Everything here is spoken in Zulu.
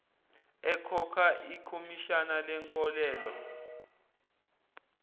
ekhokha ikhomishani lenkolelo